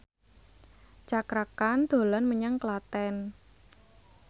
Cakra Khan dolan menyang Klaten